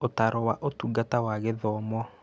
Ũtaaro wa Ũtungata wa Gĩthomo